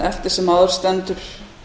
eftir sem áður stendur